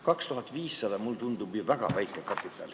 2500 eurot tundub mulle väga väikese kapitalina.